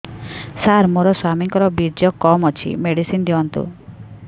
ସାର ମୋର ସ୍ୱାମୀଙ୍କର ବୀର୍ଯ୍ୟ କମ ଅଛି ମେଡିସିନ ଦିଅନ୍ତୁ